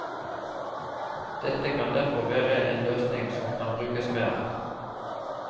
Dette kan derfor være en løsning som kan brukes mer.